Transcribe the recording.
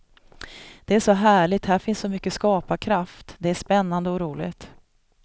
Det är så härligt, här finns så mycket skaparkraft, det är spännande och roligt.